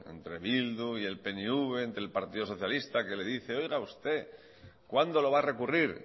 entre bildu y el pnv entre el partido socialista que le dice oiga usted cuándo lo va a recurrir